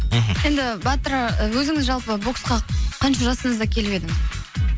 мхм енді батыр өзіңіз жалпы боксқа қанша жасыңызда келіп едіңіз